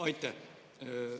Aitäh!